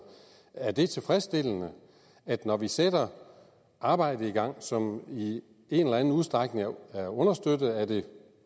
er det tilfredsstillende at når vi sætter arbejde i gang som i en eller anden udstrækning er understøttet af